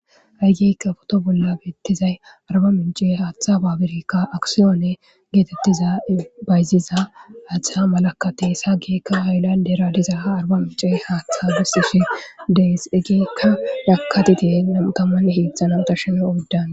Ha'i geekka foto bolla beettizay arba mince haaththa baabirekka aksiyoone geetettiza bayziza aaththa malakatesa geekka ayllandera diza ha arba mince haaththa gesishe dees egeekka nakatiti namutaman hiixxananta sheme oddan.